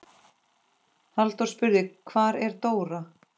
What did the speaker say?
Halldór spurði: Hvar er Dóra?